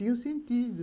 Tinha o sentido.